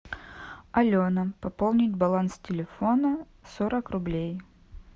алена пополнить баланс телефона сорок рублей